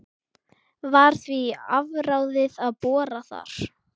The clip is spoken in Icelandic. Var því afráðið að bora þar.